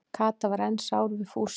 Kata var enn sár við Fúsa.